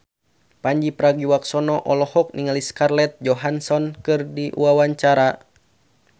Pandji Pragiwaksono olohok ningali Scarlett Johansson keur diwawancara